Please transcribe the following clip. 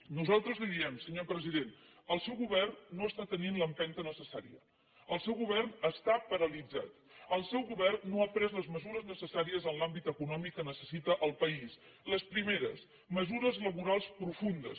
nosaltres li diem senyor president el seu govern no està tenint l’empenta necessària el seu govern està paralitzat el seu govern no ha pres les mesures necessàries en l’àmbit econòmic que necessita el país les primeres mesures laborals profundes